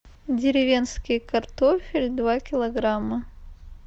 деревенский картофель два килограмма